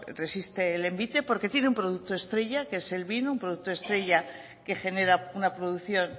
resiste el envite porque tiene un producto estrella que es el vino un producto estrella que genera una producción